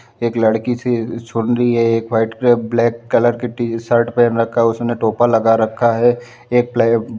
एक लड़की सी सुन रही है एक व्हाइट कलर ब्लैक कलर की टी-शर्ट पहन रखा है उसने टोपा लगा रखा है एक प्लाई